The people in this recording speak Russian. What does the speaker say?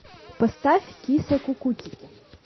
поставь киса кукутики